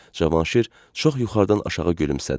Cavanşir çox yuxarıdan aşağı gülümsədi.